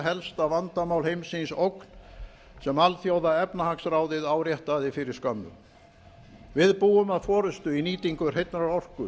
helsta vandamál heimsins ógn sem alþjóðaefnahagsráðið áréttaði fyrir skömmu við búum að forustu í nýtingu hreinnar orku